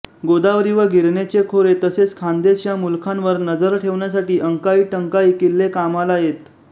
गोदावरी व गिरणेचे खोरे तसेच खानदेश या मुलखांवर नजर ठेवण्यासाठी अंकाईटंकाई किल्ले कामाला येत